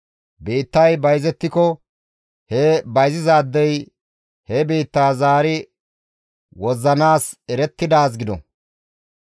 « ‹Biittay bayzettiko he bayzizaadey he biittaa zaari wozzanayssi erettidaaz gido.